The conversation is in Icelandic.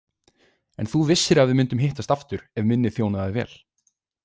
En þú vissir að við mundum hittast aftur ef minnið þjónar þér vel.